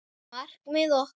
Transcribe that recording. Markmið okkar?